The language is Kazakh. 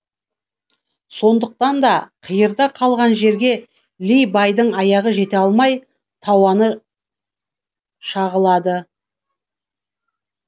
сондықтанда қиырда қалған жерге ли байдың аяғы жете алмай тауаны шағылады